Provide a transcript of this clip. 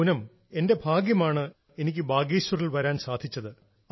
പൂനം എന്റെ ഭാഗ്യമാണ് എനിക്ക് ബാഗേശ്വറിൽ വരാൻ സാധിച്ചത്